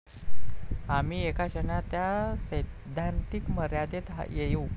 आम्ही एका क्षणात त्या सैद्धांतिक मर्यादेत येऊ.